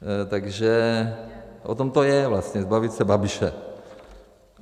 Takže o tom to je vlastně, zbavit se Babiše.